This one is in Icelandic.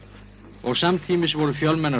og samtímis voru fjölmennar